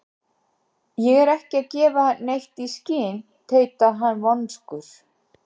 Ég er ekki að gefa neitt í skyn- tautaði hann vonsku